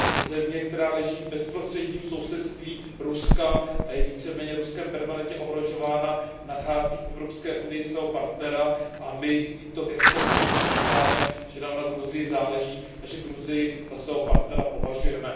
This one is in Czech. země, která leží v bezprostředním sousedství Ruska a je více méně Ruskem permanentně ohrožována, nachází v EU svého partnera a my tímto gestem na cestě říkáme, že nám na Gruzii záleží a že Gruzii za svého partnera považujeme.